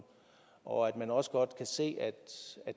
og at man også godt kan se at